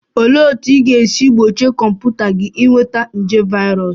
Olee otú ị ga-esi gbochie kọmputa gị ịnweta nje virus?